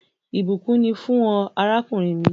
Ìbùkún ni fún ọ, àràkùnrin mi